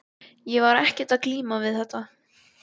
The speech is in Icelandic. Ég var ekkert að glíma við þetta.